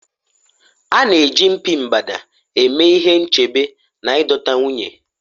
a na-eji mpi mgbada eme ihe nchebe na ịdọta nwunye